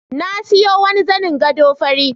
Na siyo wani zanin gado fari.